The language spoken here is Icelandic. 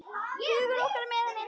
Hugur okkar er með henni.